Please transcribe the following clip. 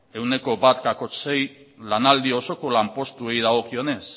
ehuneko bat koma sei lanaldi osoko lanpostuei dagokionez